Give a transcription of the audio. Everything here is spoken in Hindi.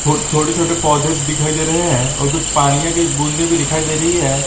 थोड़े छोटे पौधे दिखाई दे रहे है और कुछ पानीया की बूंदे भी दिखाई दे रही है।